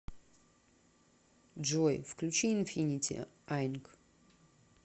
джой включи инфинити айнк